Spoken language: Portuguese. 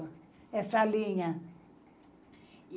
É salinha.